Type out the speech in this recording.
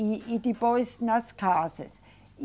E, e depois nas casas. E